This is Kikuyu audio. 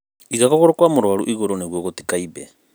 Iga kũgũru kwa mũruarũ igũrũ nigũo gũtikaimbe.